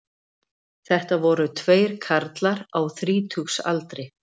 Þetta voru tveir karlar á þrítugsaldri